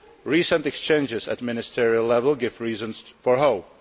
Recent exchanges at ministerial level give reason for hope.